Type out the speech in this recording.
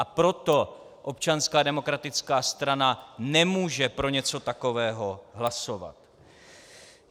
A proto Občanská demokratická strana nemůže pro něco takového hlasovat.